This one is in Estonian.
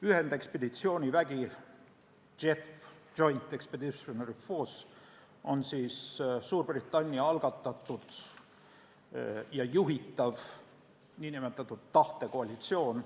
Ühendekspeditsioonivägi JEF on Suurbritannia algatatud ja juhitav nn tahtekoalitsioon.